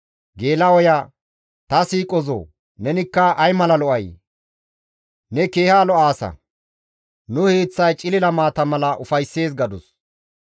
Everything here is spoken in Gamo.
«Ta siiqozoo, nenikka ay mala lo7ay! Ne keeha lo7aasa; nu hiiththay cilila maata mala ufayssees» gadus.